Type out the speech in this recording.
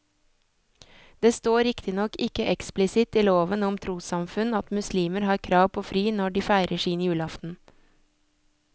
Det står riktignok ikke eksplisitt i loven om trossamfunn at muslimer har krav på fri når de feirer sin julaften.